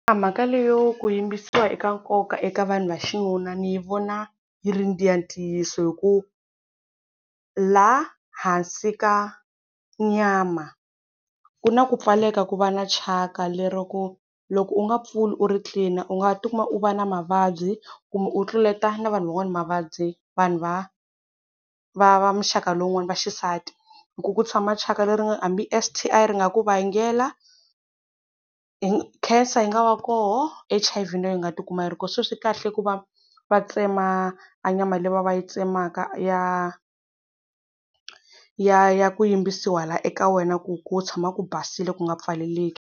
Mhaka leyo ku yimbisiwa i ka nkoka eka vanhu va xinuna ni yi vona yi ri ya ntiyiso, hi ku laha hansi ka nyama ku na ku pfaleka ku va na thyaka, lero ku loko u nga pfuli u ri clean u nga tikuma u va na mavabyi kumbe u tluleta na vanhu van'wana mavabyi, vanhu va va va muxaka lowun'wani va xisati, hi ku ku tshama thyaka leri hambi S_T_I ri nga ku vangela, Khensa yi nga va koho H_I_V na yoho yi nga tikuma yi ri kona. Se swi kahle ku va va tsema a nyama le va va yi tsemaka ya ya ya ku yimbisiwa laya eka wena ku ku tshama ku basile ku nga pfaleleki.